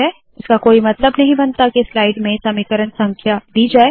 इसका कोई मतलब नहीं बनता के स्लाइड में समीकरण संख्या दी जाए